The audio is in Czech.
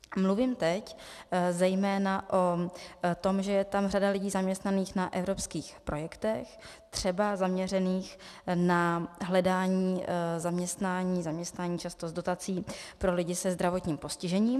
Mluvím teď zejména o tom, že je tam řada lidí zaměstnaných na evropských projektech, třeba zaměřených na hledání zaměstnání, zaměstnání často s dotací pro lidi se zdravotním postižením.